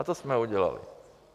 A to jsme udělali.